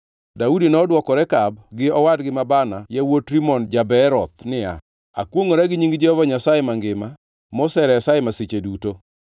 Daudi nodwoko Rekab gi owadgi ma Baana yawuot Rimon ja-Beeroth niya, “Akwongʼora gi nying Jehova Nyasaye mangima, moseresa e masiche duto,